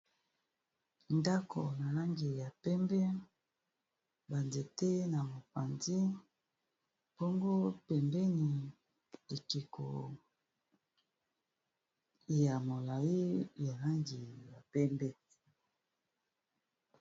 ndako na langi ya pembe banzete na mokanzi mpongo pembeni ekiko ya molai ya langi ya pembe